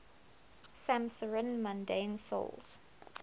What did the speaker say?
'samsarin mundane souls